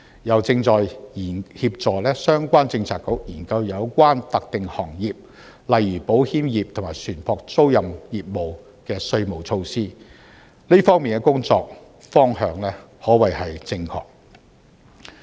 又正在協助相關政策局研究有關特定行業，例如保險業和船舶租賃業務的稅務措施，這方面的工作方向可謂正確。